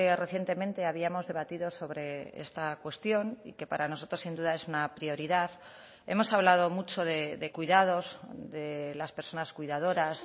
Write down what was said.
recientemente habíamos debatido sobre esta cuestión y que para nosotros sin duda es una prioridad hemos hablado mucho de cuidados de las personas cuidadoras